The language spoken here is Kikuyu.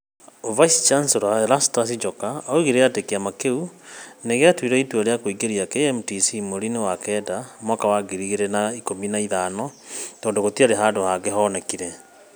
Vice Chancellor Prof. Erastus Njoka oigire atĩ kĩama kĩu nĩ gĩatuire itua rĩa kũingĩria KMTC mweri-inĩ wa Septemba mwaka wa ngiri igĩrĩ na ikũmi na ithano tondũ gũtiarĩ handũ hangĩ hoonekire.